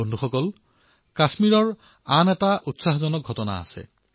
বন্ধুসকল কাশ্মীৰৰ আৰু এটা প্ৰেৰণাদায়ী ঘটনা ঘটিছে